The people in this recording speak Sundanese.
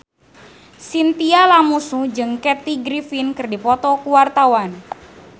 Chintya Lamusu jeung Kathy Griffin keur dipoto ku wartawan